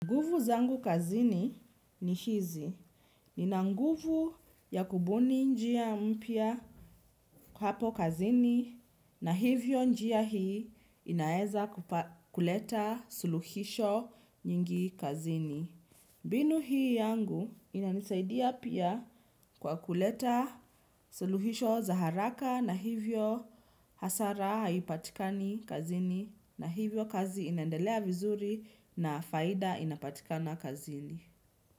Nguvu zangu kazini ni hizi, nina nguvu ya kubuni njia mpya hapo kazini na hivyo njia hii inaeza kuleta suluhisho nyingi kazini. Mbinu hii yangu inanisaidia pia kwa kuleta suluhisho za haraka na hivyo hasara haipatikani kazini na hivyo kazi inaendelea vizuri na faida inapatikana kazini.